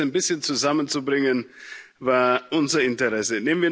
Das ein bisschen zusammenzubringen, war unser Interesse.